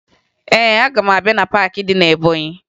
Ee, aga m abịa na paakị dị na Ebọnyị